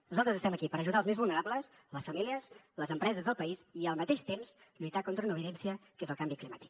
nosaltres estem aquí per ajudar els més vulnerables les famílies les empreses del país i al mateix temps lluitar contra una evidència que és el canvi climàtic